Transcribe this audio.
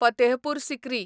Fatehpur Sikri